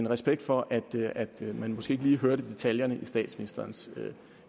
respekt for at man måske ikke lige hørte detaljerne i statsministerens